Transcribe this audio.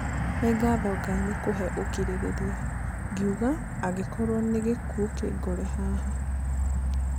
Nĩ ngatho Ngai nĩ kũhe ũkirĩrĩria, ngĩuga "angĩkorwo nĩ gĩkuũ kĩngore haha".